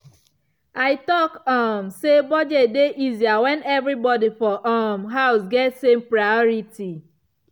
i talk um say budget dey easier when everybody for um house get same priority.